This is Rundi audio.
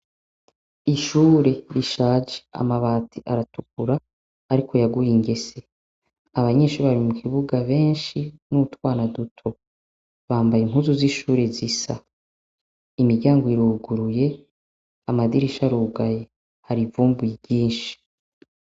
Ishure rishaje amabati aratukura, ariko yaguye ingesye. Abanyeshure bari mu kibuga benshi n' utwana duto. Bambaye impuzu z' ishure zisa. Imiryango iruguruye, amadirisha arugaye. Hari ivumbi ryinshi.